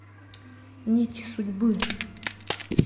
нити судьбы